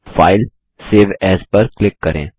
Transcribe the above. फाइलगटीजीटी save AS पर click करें